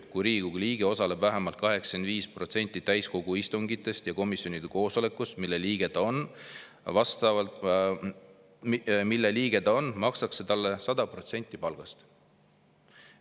Kui Riigikogu liige osaleb vähemalt 85% täiskogu istungitest ja komisjonide koosolekutest, mille liige ta on, makstakse talle 100% palgast.